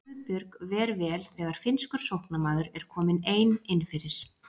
Guðbjörg ver vel þegar finnskur sóknarmaður er komin ein innfyrir.